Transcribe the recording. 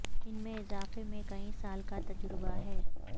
ان میں اضافے میں کئی سال کا تجربہ ہے